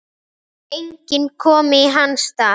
Enginn komi í hans stað.